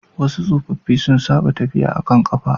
wasu tsofaffi sun saba tafiya da kafa